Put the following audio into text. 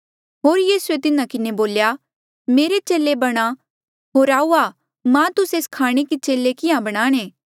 होर यीसूए तिन्हा किन्हें बोल्या मेरे चेले बणा होर आऊआ मां तुस्से स्खाणे कि चेले किहाँ बनाणे